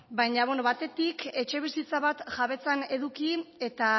baina batetik etxebizitza bat jabetzan eduki eta